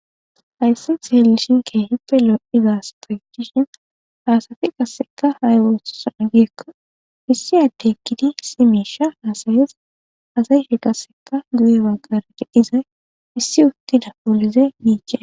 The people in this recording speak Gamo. Hayssan xelishin kehippe lo'zza assathi utti dishe ha assathi qasseka ayi othizo gikko issi adde eqidi issi misha hassaes assayka qasseka guye bagar issi uthida poolise meces.